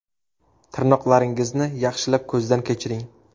Tirnoqlaringizni yaxshilab ko‘zdan kechiring.